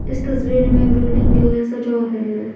इस तसवीर में बिल्डिंग जो हैसजा है।